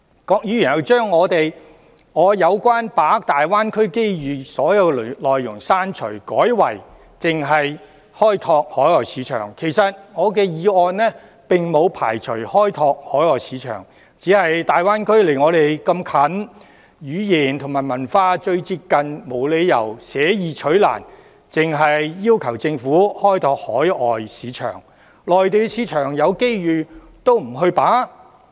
郭議員又把我有關把握大灣區機遇的所有內容刪除，改為開拓海外市場，其實我的議案並沒有排除開拓海外市場，只是大灣區鄰近本港，語言和文化最為接近，我們沒理由捨易取難，只要求政府開拓海外市場，而不把握內地市場。